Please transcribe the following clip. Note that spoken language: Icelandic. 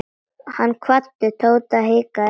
Hann kvaddi Tóta en hikaði.